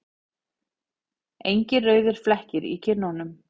Engir rauðir flekkir í kinnunum.